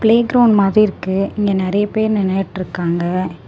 Playground மாறி இருக்கு இங்க நிறைய பேர் நின்னுட்டுருக்காங்க.